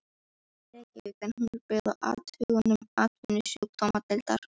Reykjavík, en hún er byggð á athugunum atvinnusjúkdómadeildar